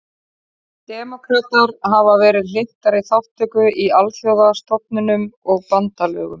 Demókratar hafa verið hlynntari þátttöku í alþjóðastofnunum og bandalögum.